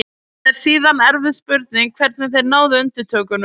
Það er síðan erfið spurning hvernig þeir náðu undirtökunum.